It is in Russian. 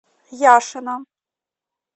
яшина